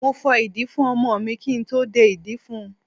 Mo fọ ìdí fún ọmọ mi kí n tó dé ìdí fún un.